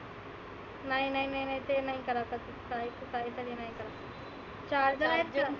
नाय नाय नाय ते नाही करायचं. charger आहे का?